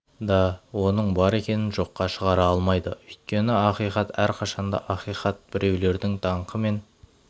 да оның бар екенін жоққа шығара алмайды өйткені ақиқат әрқашан да ақиқат біреулердің даңқы мен